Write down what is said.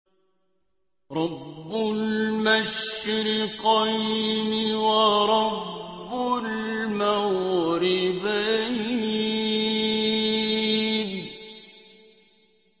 رَبُّ الْمَشْرِقَيْنِ وَرَبُّ الْمَغْرِبَيْنِ